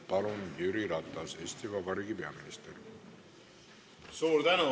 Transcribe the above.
Palun, Jüri Ratas, Eesti Vabariigi peaminister!